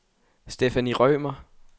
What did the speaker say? Stephanie Rømer